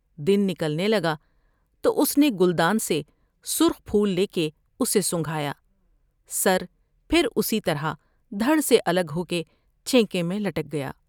دن نکلنے لگا تو اس نے گلدان سے سرخ پھول لے کے اسے سنگھا یا سر پھر اسی طرح دھڑے سے الگ ہو کے چھینکے میں لٹک گیا ۔